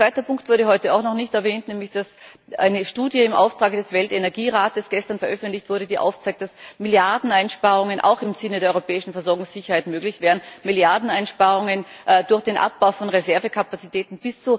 Ein zweiter Punkt wurde heute auch noch nicht erwähnt, nämlich dass gestern eine Studie im Auftrag des Weltenergierates veröffentlicht wurde, die aufzeigt, dass Milliardeneinsparungen auch im Sinne der europäischen Versorgungssicherheit möglich wären, Milliardeneinsparungen durch den Abbau von Reservekapazitäten.